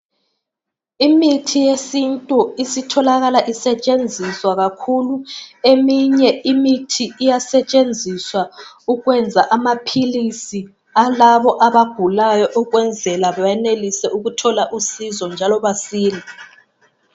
Imithi yesintu isitholakala isetshenziswa kakhulu eminye imithi iyasetshenziswa ukwenza amaphilisi alabo abagulayo ukwenzela benelise ukuthola usizo njalo basile.